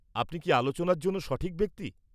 -আপনি কি আলোচনার জন্য সঠিক ব্যক্তি?